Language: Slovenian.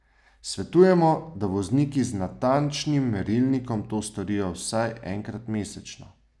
Svetujemo, da vozniki z natančnim merilnikom to storijo vsaj enkrat mesečno.